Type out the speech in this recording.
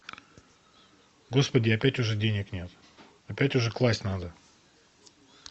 господи опять уже денег нет опять уже класть надо